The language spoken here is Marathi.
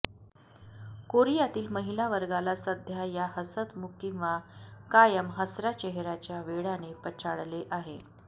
कोरियातील महिला वर्गाला सध्या या हसतमुख किंवा कायम हसर्या चेहर्याच्या वेडाने पछाडले आहे